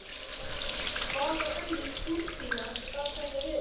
Hvaða önnur túrbína gat þetta verið?